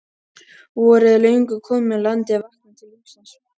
Vorið er löngu komið og landið er vaknað til lífsins.